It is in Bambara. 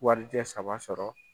Warijɛ saba sɔrɔ.